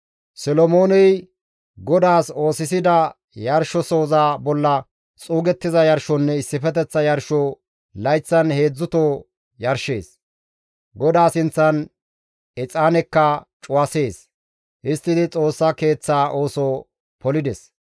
Solomooney GODAAS oosisida yarshosoza bolla xuugettiza yarshonne issifeteththa yarsho layththan heedzdzuto yarshees; GODAA sinththan exaanekka cuwasees; histtidi Xoossa Keeththaa ooso polides.